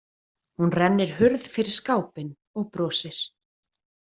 Hún rennir hurð fyrir skápinn og brosir.